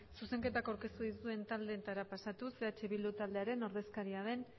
zuzenketa aurkeztu dituen taldeetara pasatuz eh bildu taldearen ordezkaria den